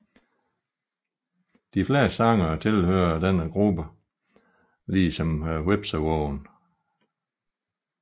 De fleste sangere tilhører denne gruppe ligesom hvepsevågen